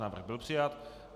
Návrh byl přijat.